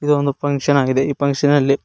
ಇದು ಒಂದು ಫುನ್ಕ್ಷನ್ ಆಗಿದೆ ಈ ಫುನ್ಕ್ಷನ್ ಅಲ್ಲಿ--